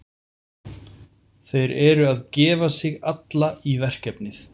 Þeir eru að gefa sig alla í verkefnið.